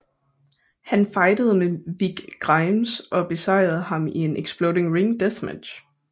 Han fejdede med Vic Grimes og besejrede ham i en Exploding Ring Death Match